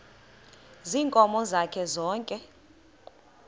ziinkomo zakhe zonke